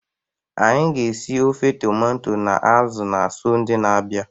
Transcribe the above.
Anyị ga-esi ofe tomato anụ azu na Sọnde na-abia.